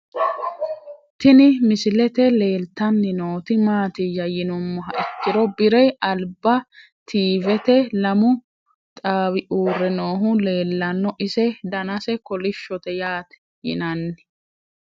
Tini misilete leelitanni noot maatiya yinumoha ikkiro bire aliba tvet lamu xaawi uure noohu leelanno ise danase kolishote yaate yinanni